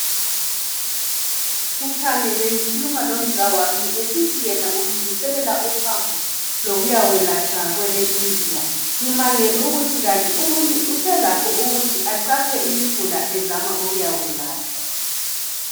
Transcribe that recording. Kuthange bengikhuluma lomzawami esithi yena elungiselela uhambo lokuya kwelatshwa kwele Indiya. Ngimangele ukuthi umuntu uselakho ukuthi achaphe imifula ezama ukuya kwelatshwa.